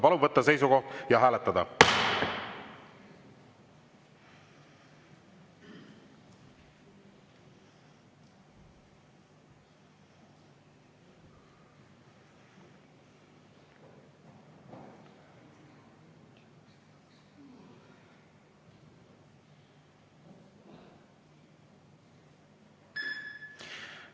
Palun võtta seisukoht ja hääletada!